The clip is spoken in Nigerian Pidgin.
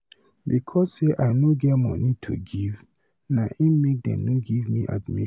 Because sey I no get moni to give na im make dem no give me admission.